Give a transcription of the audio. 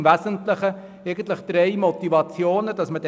– Dies hat im Wesentlichen drei Gründe.